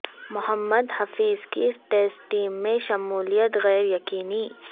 محمد حفیظ کی test team میں شمولیت غیر یقینی